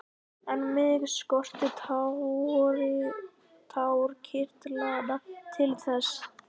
En mig skortir tárakirtlana til þess.